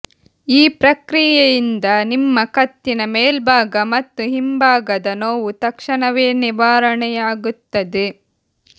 ಈ ಪ್ರಕ್ರಿಯೆಯಿಂದ ನಿಮ್ಮ ಕತ್ತಿನ ಮೇಲ್ಭಾಗ ಮತ್ತು ಹಿಂಭಾಗದ ನೋವು ತಕ್ಷಣವೇ ನಿವಾರಣೆಯಾಗುತ್ತದೆ